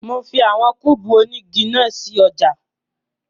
Mo fi àwọn kúùbù onígi náà sí ọjà